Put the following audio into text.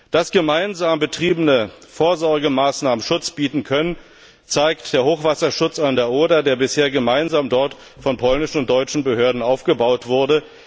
Dass gemeinsam betriebene Vorsorgemaßnahmen Schutz bieten können, zeigt der Hochwasserschutz an der Oder, der bisher dort gemeinsam von polnischen und deutschen Behörden aufgebaut wurde.